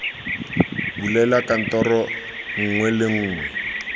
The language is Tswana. bulela kantoro nngwe le nngwe